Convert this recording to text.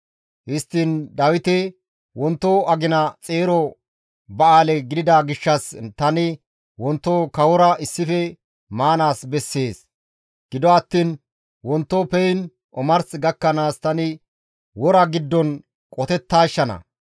Histtiin Dawiti, «Wonto agina xeero ba7aale gidida gishshas tani wonto kawora issife maanaas bessees. Gido attiin wonto peyn omars gakkanaas tani wora giddon qotettaashshana.